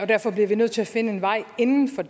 derfor bliver vi nødt til at finde en vej inden for